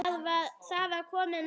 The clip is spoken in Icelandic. Það var komið nóg.